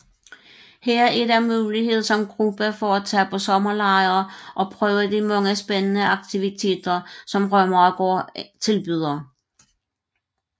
Her er der mulighed som gruppe for at tage på sommerlejr og prøve de mange spændende aktiviteter som Rømeregård tilbyder